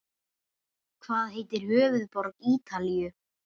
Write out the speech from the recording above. Hvað heitir höfuðborg Ítalíu?